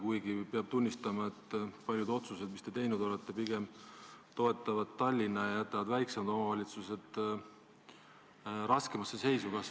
Samas peab tunnistama, et paljud otsused, mis te teinud olete, pigem toetavad Tallinna ja jätavad väiksemad omavalitsused raskemasse seisu.